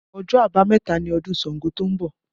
Ọjọ́ abameta ni ọdún Ṣàngó to ń bọ̀